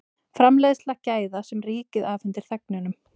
Framleiðsla gæða sem ríkið afhendir þegnunum